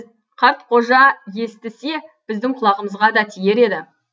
қартқожа естісе біздің құлағымызға да тиер еді